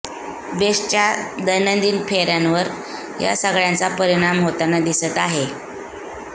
बेस्टच्या दैनंदिन फेर्यांवर या सगळ्यांचा परिणाम होताना दिसत आहे